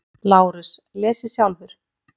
LÁRUS: Lesið sjálfur!